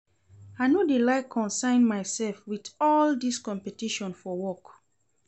I no dey like consyn myself with all dis competition for work